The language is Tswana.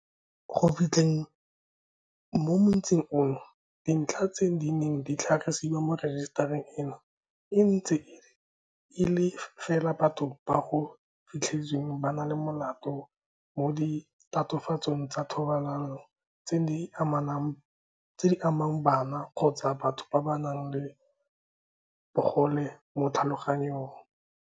Go fitlheng mo motsing ono, dintlha tse di neng di tlhagisiwa mo rejisetareng eno e ntse e le fela tsa batho bao go fitlhetsweng ba le molato mo ditatofatsong tsa thobalano tseo di amang bana kgotsa batho ba ba nang le bogole mo tlhaloganyong.